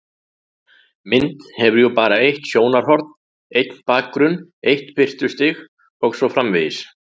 Mynd hefur jú bara eitt sjónarhorn, einn bakgrunn, eitt birtustig og svo framvegis.